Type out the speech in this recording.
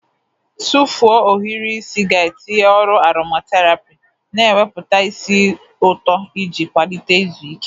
Tụfuo ohiri isi ga-etinye ọrụ aromaterapi, na-ewepụta ísì ụtọ iji kwalite izu ike.